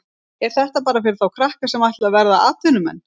Er þetta bara fyrir þá krakka sem ætla að verða atvinnumenn?